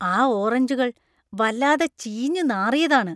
ആ ഓറഞ്ചുകൾ വല്ലാതെ ചീഞ്ഞു നാറിയതാണ്.